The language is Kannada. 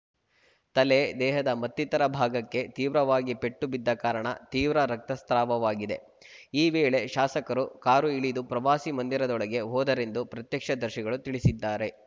ತಲೆ ದೇಹದ ಮತ್ತಿತರ ಭಾಗಕ್ಕೆ ತೀವ್ರವಾಗಿ ಪೆಟ್ಟು ಬಿದ್ದ ಕಾರಣ ತೀವ್ರ ರಕ್ತಸ್ರಾವವಾಗಿದೆ ಈ ವೇಳೆ ಶಾಸಕರು ಕಾರು ಇಳಿದು ಪ್ರವಾಸಿ ಮಂದಿರದೊಳಗೆ ಹೋದರೆಂದು ಪ್ರತ್ಯಕ್ಷ ದರ್ಶಿಗಳು ತಿಳಿಸಿದ್ದಾರೆ